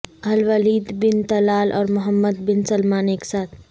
الولید bin Talal اور Mohammed bin Salman ایک ساتھ